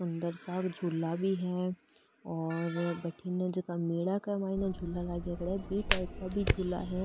अंदर सा झूला भी है और बि टाइप का भी झूला है।